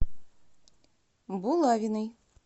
булавиной